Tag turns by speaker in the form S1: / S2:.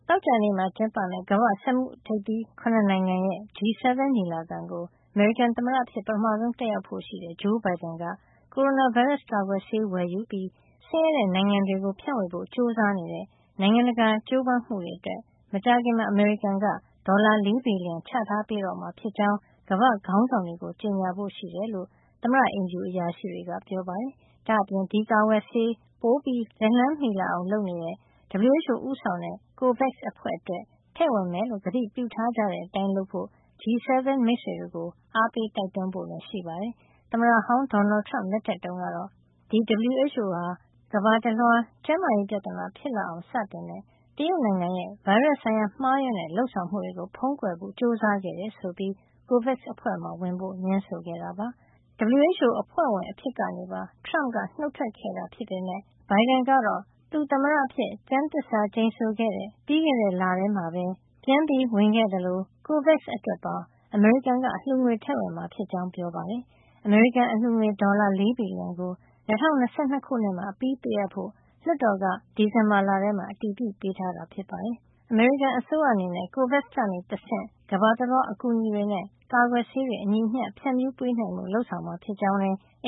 S1: ောကြာနေ့မှာ ကျင်းပတဲ့ ကမ္ဘာ့ စက်မှုထိပ်သီး ၇ နိုင်ငံရဲ့ G7 ညီလာခံကို အမေရိကန်သမ္မတအဖြစ် ပထမဆုံး တက်ရောက်ဖို့ရှိတဲ့ ဂျိုးဘိုင်ဒန်က ကိုရိုနာဗိုင်းရပ်စ်ကာကွယ်ဆေး ဝယ်ယူပြီး ဆင်းရဲတဲ့နိုင်ငံတွေကို ဖြန့်ဝေဖို့ ကြိုးစားနေတဲ့ နိုင်ငံတကာ ကြိုးပမ်းမှုတွေအတွက် မကြာခင်မှာ အမေရိကန်ဒေါ်လာ ၄ ဘီလီယံ ချထားပေးတော့မှာ ဖြစ်ကြောင်း ကမ္ဘာ့ခေါင်းဆောင်တွေကို ကြေညာဖို့ရှိတယ်လို့ သမ္မတအိမ်ဖြူအရာရှိတွေက ပြောကြားပါတယ်။ ဒါ့အပြင် ဒီကာကွယ်ဆေးတွေ ပိုပြီလက်လှမ်းမှီလာအောင် လုပ်နေတဲ့ WHO ဦးဆောင်တဲ့ COVAX အဖွဲ့အတွက် ထည့်ဝင်မယ်လို့ ကတိပြုထားကြတဲ့အတိုင်း လုပ်ဖို့ G7 မိတ်ဆွေတွေကို အားပေးတိုက်တွန်းဖို့လည်း ရှိပါတယ်။ သမ္မတဟောင်း ဒေါ်နယ်ထရမ့် လက်ထက်တုန်းကတော့ ဒီ WHO ဟာ ကမ္ဘာတလွှား ကျန်းမာရေးပြဿနာ ဖြစ်အောင်စတင်တဲ့ တရုတ်နိုင်ငံရဲ့ ဗိုင်းရပ်စ်ဆိုင်ရာ မှားယွင်းတဲ့ လုပ်ဆောင်မှုတွေကို ဖုံးကွယ်ဖို့ ကြိုးစားခဲ့တယ်ဆိုပြီး COVAX အဖွဲ့မှာ ဝင်ဖို့ငြင်းဆိုခဲ့တာပါ။ WHO အဖွဲ့ဝင်အဖြစ်ကနေပါ ထရမ့်က နုတ်ထွက်ခဲ့တာ ဖြစ်ပေမယ့် ဘိုင်ဒန်ကတော့ သူသမ္မတအဖြစ် ကျမ်းသစ္စာကျိန်ဆိုခဲ့တဲ့ ပြီးခဲ့တဲလမှာပဲ ပြန်ဝင်ခဲ့သလို COVAX အတွက်ပါ အမေရိကန်က အလှူငွေထည့်ဝင်မှာ ဖြစ်ကြောင်း ပြောခဲ့တာပါ။ အမေရိကန်အလှူငွေ ဒေါ်လာ ၄ ဘီလီယံကို ၂၀၂၂ ခုနှစ်မှာ အပြီးပေးအပ်ဖို့ လွှတ်တော်က ဒီဇင်ဘာလ ထဲမှာ အတည်ပြု ပေးထားတာ ဖြစ်ပါတယ်။ အမေရိကန်အစိုးရ အနေနဲ့ COVAX ကနေတဆင့် ကမ္ဘာတလွှား အကူအညီတွေနဲ့ ကာကွယ်ဆေး အညီအမျှ ဖြန့်ဖြူးပေးနိုင်ဖို့ လုပ်ဆောင်မှာ ဖြစ်ကြောင်းလည်း အ